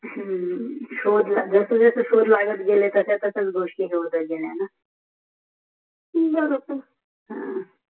शोध लागत जसा जसा शोध लागत गेले तसे तसे गोष्टी लागत गेले हाय न बरोबर ह